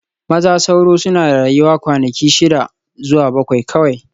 Maza sauro suna rayuwa kwanaki shida zuwa bakwai kawai